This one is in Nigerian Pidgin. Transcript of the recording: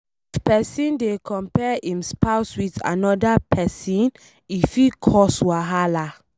If pesin dey compare em spouse with anoda pesin e fit cos wahala